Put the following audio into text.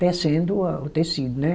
tecendo a o tecido, né?